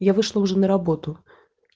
я вышла уже на работу